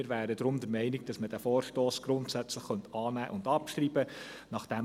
Wir wären daher der Meinung, dass man diesen Vorstoss grundsätzlich annehmen und abschreiben könnte.